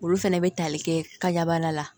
Olu fɛnɛ bɛ tali kɛ kaban la